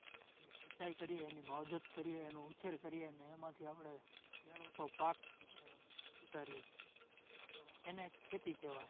સિંચાઇ કરીએ, એની માવજત કરીએ, એનો ઉછેર કરીએ અને એમાંથી આપડે મેળવતો પાક ઉતારીએ એને ખેતી કહેવાય.